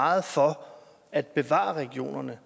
meget for at bevare regionerne